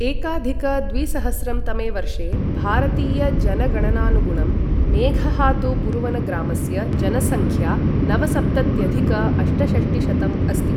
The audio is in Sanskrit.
एकाधिक द्विसहस्रं तमे वर्षे भारतीयजनगणनानुगुणं मेघहातुबुरुवनग्रामस्य जनसंख्या नवसप्तत्यधिक अष्टषष्टिशतं अस्ति ।